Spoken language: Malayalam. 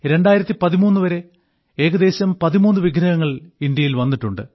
2013 വരെ ഏകദേശം 13 വിഗ്രഹങ്ങൾ ഇന്ത്യയിൽ വന്നിട്ടുണ്ട്